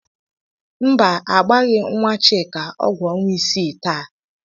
Mba, agbaghị nwa Chika ọgwụ ọnwa isii taa.